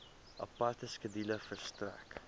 aparte skedule verstrek